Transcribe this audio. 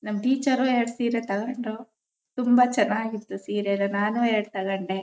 ನಮ್ ಟೀಚರ್ ಎರಡು ಸೀರೆ ತಗೊಂಡ್ರು ತುಂಬಾ ಚೆನ್ನಾಗ್ ಇತ್ತು ಸೀರೆ ಅದರಲ್ಲಿ ನಾನು ಎರಡು ತಗೊಂಡೆ.